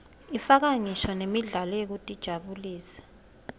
ifaka ngisho nemidlalo yekutijabulisa